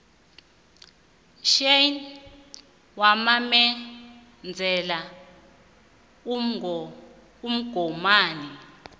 chan wamemezela umgomani